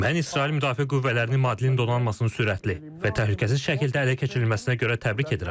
Mən İsrail Müdafiə Qüvvələrinin Madlen donanmasının sürətli və təhlükəsiz şəkildə ələ keçirilməsinə görə təbrik edirəm.